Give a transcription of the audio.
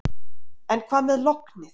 En hvað með lognið.